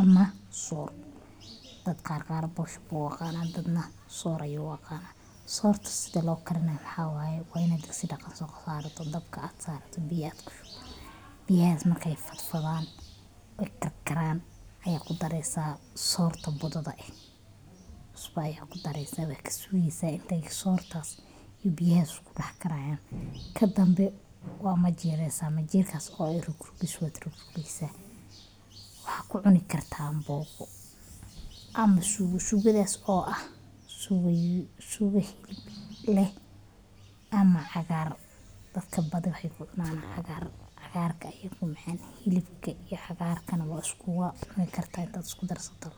ama soor dad qaar boosho ayee uaqanan dad neh soor aye uaqanaan. Soorta sudha lookarinayo waxa waye wa inaad digdidaqan sosarato dabka biya aad kushubi biyahas marka ey fadfadhaan ey karkaraan aya kudareysa soorta budhadha eh cusba ayaa kudareysa waa kasugeysa inta ey sorta iyo biyahas iskudaxkarayaan. Kadambe waa majiireysa majiirkas oo eh rugrugis waad rugrugeysa. Waxa kucuni karta ambogo ama suugo suugashas oo eh sugo hilib leh ama cagaar dadka badhi waxey kucunaan cagaar cagaarka aye kumacan hilibka iyo cagaarka neh wad iskucuni karta inta iskudarsato.